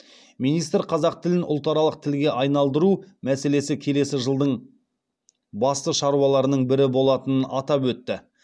министр қазақ тілін ұлтаралық тілге айналдыру мәселесі келесі жылдың басты шаруаларының бірі болатынын атап өтті